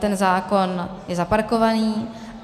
Ten zákon je zaparkovaný.